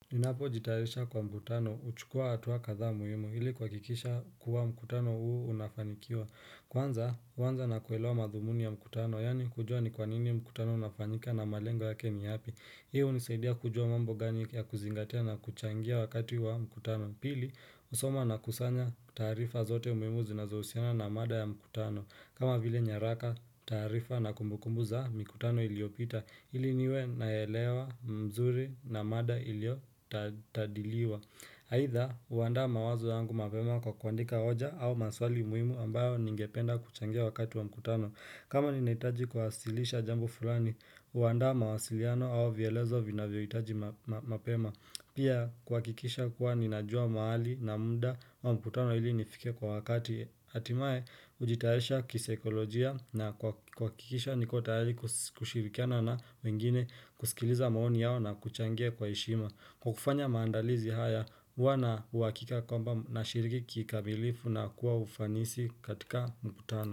Ninapo jitayarisha kwa mkutano, huchukua hatua kadhaa muhimu, ili kuhakikisha kuwa mkutano huu unafanikiwa. Kwanza, huanza na kuelewa madhumuni ya mkutano, yaani kujua ni kwanini mkutano unafanyika na malengo yake ni yapi. Hii hunisaidia kujua mambo gani ya kuzingatia na kuchangia wakati wa mkutano. Pili, husoma na kusanya taarifa zote ambazo zinazohusiana na mada ya mkutano. Kama vile nyaraka, taarifa na kumbukumbu za mikutano iliopita. Ili niwe naelewa, mzuri na mada ilio tadiliwa aidha, huandaa mawazo yangu mapema kwa kuandika hoja au maswali muhimu ambayo ningependa kuchangia wakati wa mkutano kama ninahitaji kuwasilisha jambo fulani, huandaa mawasiliano au vyelezo vinavyo hitaji mapema Pia, kuhakikisha kuwa ninajua mahali na muda wa mkutano ili nifike kwa wakati hatimaye hujitayarisha kisaikolojia na kuhakikisha niko tayari kushirikiana na wengine kusikiliza maoni yao na kuchangia kwa heshima. Kwa kufanya maandalizi haya huwa na uhakika kwamba nashiriki kikamilifu na kuwa ufanisi katika mkutano.